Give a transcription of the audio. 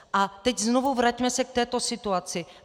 A teď znovu, vraťme se k této situaci.